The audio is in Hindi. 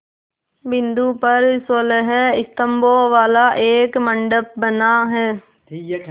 बिंदु पर सोलह स्तंभों वाला एक मंडप बना है